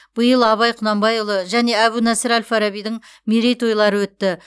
биыл абай құнанбайұлы және әбу насыр әл фарабидің мерейтойлары өтті